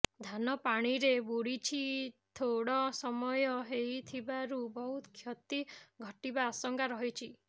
ଧାନ ପାଣିରେ ବୁଡିଛି ଥୋଡ ସମୟ ହୋଇଥିବାରୁ ବହୁ କ୍ଷତି ଘଟିବା ଆଶଙ୍କା ରହିଛି